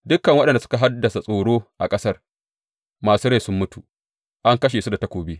Dukan waɗanda suka haddasa tsoro a ƙasar masu rai sun mutu, an kashe su da takobi.